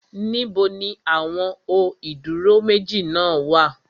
Níbo ni àwọn ó ìdúró méjì náà wà?